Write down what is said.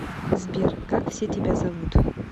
сбер как все тебя зовут